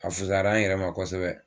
A fusayara n yɛrɛ ma kosɛbɛ.